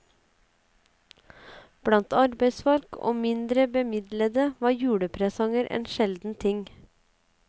Blant arbeidsfolk og mindre bemidlede, var julepresanger en sjelden ting.